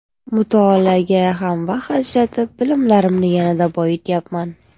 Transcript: Mutolaaga ham vaqt ajratib, bilimlarimni yanada boyityapman.